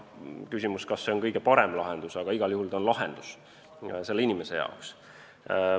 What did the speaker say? Kas see on kõige parem lahendus, aga igal juhul on see lahendus inimese jaoks.